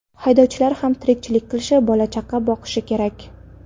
Haydovchilar ham tirikchilik qilishi, bola-chaqasini boqishi kerak.